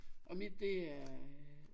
Og mit det er